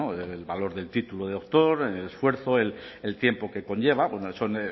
del valor del título de doctor el esfuerzo el tiempo que conlleva son